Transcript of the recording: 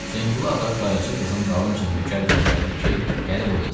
Hüseynqulu ağa Qaraca qızın dalınca nökər göndərdi ki, gəlib oynasın.